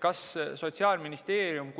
Kas Sotsiaalministeerium